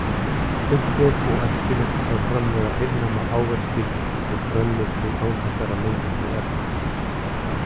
Unnt er og æskilegt að framleiða heilnæma ávexti og grænmeti án þessara mengandi efna.